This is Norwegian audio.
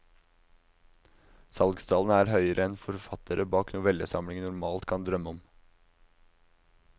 Salgstallene er høyere enn forfattere bak novellesamlinger normalt kan drømme om.